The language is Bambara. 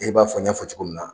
E b'a fɔ n y'a fɔ cogo min na.